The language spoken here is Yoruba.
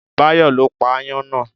Báyọ̀ ló pa ááyán náà